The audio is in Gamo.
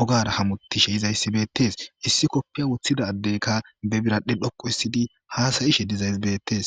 ogara hamutishe yizaysi betes, issi kopiya wothida adeyika be biradhe dhoqu histida hasa'ishe dizaysi betes